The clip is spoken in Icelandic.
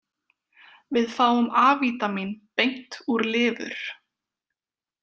Við fáum A-vítamín beint úr lifur.